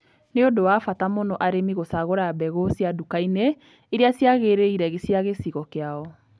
Nĩ ũndũ wa bata mũno arĩmi gũcagũra mbegũ cia nduka-inĩ irĩa ciagĩrĩire cia gĩcigo kĩao.